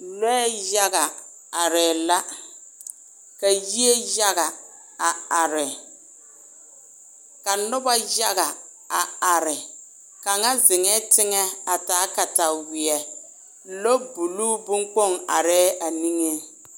lɔɛ yaga aree la, ka yie yaga a are, ka noba yaga a are, kaŋa zeŋɛ teŋɛ a taa katawie lɔɔ buluu bonkpoŋ are a.niŋe